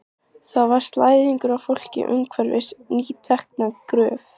Þar var slæðingur af fólki umhverfis nýtekna gröf.